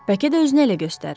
Bəlkə də özünü elə göstərir.